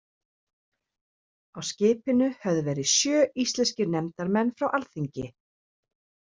Á skipinu höfðu verið sjö íslenskir nefndarmenn frá alþingi.